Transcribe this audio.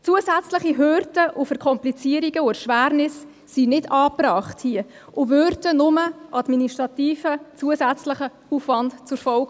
Zusätzliche Hürden, Verkomplizierungen und Erschwernisse sind hier nicht angebracht und hätten nur administrativen, zusätzlichen Aufwand zur Folge.